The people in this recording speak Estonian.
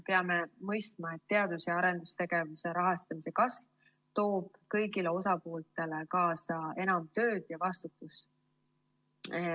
Peame mõistma, et teadus‑ ja arendustegevuse rahastamise kasv toob kõigile osapooltele kaasa enam tööd ja vastutust.